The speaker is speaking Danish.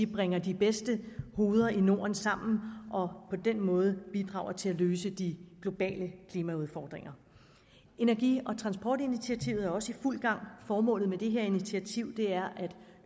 vi bringer de bedste hoveder i norden sammen og på den måde bidrager til at løse de globale klimaudfordringer energi og transportinitiativet er også i fuld gang formålet med dette initiativ er at